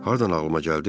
Hardan ağlıma gəldi?